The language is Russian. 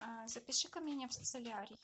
запиши ка меня в солярий